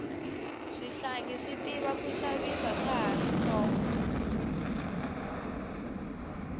swihlangi swi tiva ku xavisa swa hari swi tsonga